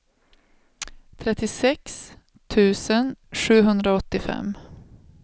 trettiosex tusen sjuhundraåttiofem